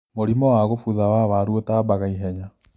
Mũrimũ wa kũbutha wa waru ũtambaga ihenya.